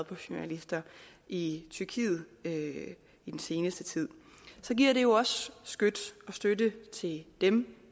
på journalister i tyrkiet i den seneste tid så giver det jo også skyts og støtte til dem